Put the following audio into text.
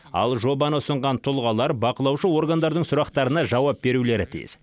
ал жобаны ұсынған тұлғалар бақылаушы органдардың сұрақтарына жауап берулері тиіс